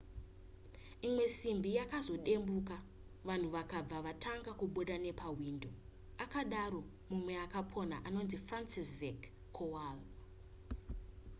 imwe simbi yakazodembuka vanhu vakabva vatanga kubuda nepahwindo akadaro mumwe akapona anonzi franciszek kowal